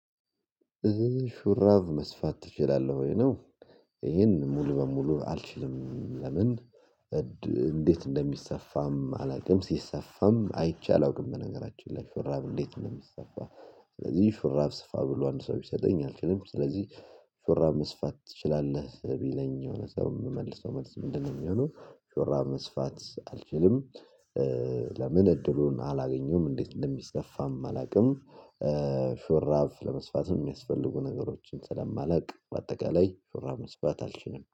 ሹራቭ መስፋት ትችላለህ ወይ ነው? ይሄን ሙሉ በሙሉ አልችልም። ለምን እንዴት እንደሚሰፋም አላውቅም ሲሰፋም አይቼ አላውቅም። በነገራችን ላይ ሹራብ እንዴት እንደሚሰፋ። ስለዚህ ሹራብ ስፋ ብሎ አንድ ሰው ቢሰጠኝ አልችልም። ስለዚህ ሹራብ መስፋት ትችላለህ ቢለኝ የሆነ ሰው የምመልሰው መልስ ምንድነው የሚሆነው? ሹራብ መስፋት አልችልም። ለምን እድሉን አላገኘሁም እንዴት እንደሚሰፋም አላውቅም። ሾራፍ ለመስፋት የሚያስፈልጉ ነገሮችን ስለማላውቅ በአጠቃላይ መስፋት አልችልም